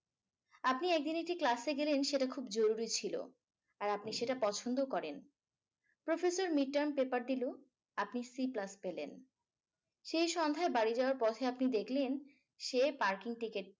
আপনি একদিন একটা class এ গেলেন সেটা খুব জরুরী ছিল। আর আপনি সেটা পছন্দও করেন। আপনি সেই class পেলেন। সেই সন্ধ্যার বাড়ি যাওয়ার পর পর আপনি দেখলেন সে parking ticket